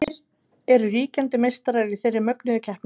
Hverjir eru ríkjandi meistarar í þeirri mögnuðu keppni?